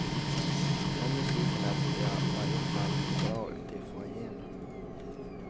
Den musiken lät i varje fall bra ute i foajéerna.